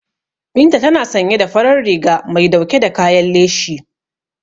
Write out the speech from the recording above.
Binta tana sanye da farar riga mai dauke da kayan leshi.